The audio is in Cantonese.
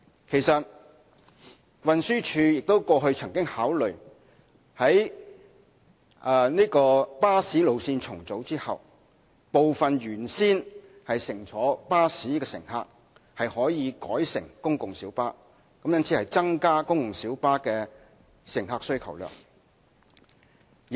其實，運輸署過去曾經考慮在巴士路線重組後，部分原先乘坐巴士的乘客可以改乘公共小巴，以增加公共小巴的乘客需求量。